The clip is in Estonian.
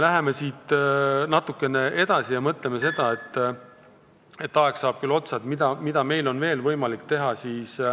Läheme siit natukene edasi ja mõtleme , mida meil on veel võimalik teha.